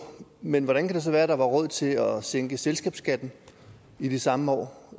men hvordan kan det så være at der var råd til at sænke selskabsskatten i de samme år